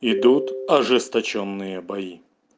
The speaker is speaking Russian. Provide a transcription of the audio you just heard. идут ожесточённые бои